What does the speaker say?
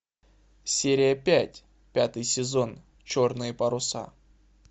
серия пять пятый сезон черные паруса